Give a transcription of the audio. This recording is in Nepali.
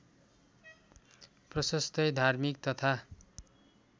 प्रशस्तै धार्मिक तथा